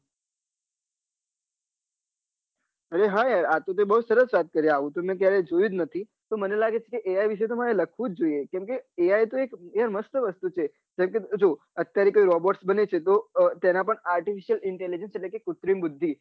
અરે હા આતો તે બહુ સરસ વાત કરી આવું તો મેં કયારે જોયું જ નથી મને લાગે છે કે AI વિશે મારે લખવું જોઈએ કેમકે AI એ મસ્ત વસ્તુ છે જેમકે જો અત્યારે કોઈ robot બને છે તો તેના પર artificial intelligence એટલે કે કુત્રિમ બુઘ્ધિ